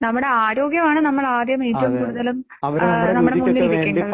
നമ്മുടെ ആരോഗ്യമാണ് നമ്മള് ആദ്യം ഏറ്റവും കൂടുതലും നമ്മളുടെ മുന്നിൽ നില്കേണ്ടത്